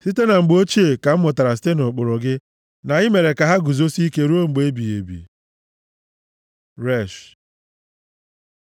Site na mgbe ochie ka m mụtara site nʼụkpụrụ gị, na i mere ka ha guzosie ike ruo mgbe ebighị ebi. ר Resh